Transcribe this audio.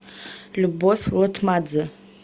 любовь лытмадзе